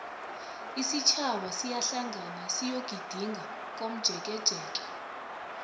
isitjhaba siyahlangana siyogidinga komjekejeke